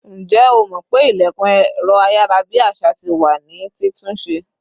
Ǹjẹ́ o mó pé ilẹ̀kùn ẹ̀rọ ayarabi àṣà tí wá ní ti tún ṣe